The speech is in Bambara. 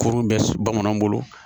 Kurun bɛ bamananw bolo